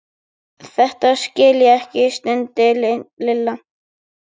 Þetta skil ég ekki stundi Lilla.